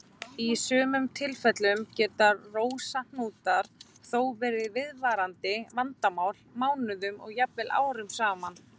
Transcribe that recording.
Í sumum tilfellum geta rósahnútar þó verið viðvarandi vandamál mánuðum og jafnvel árum saman.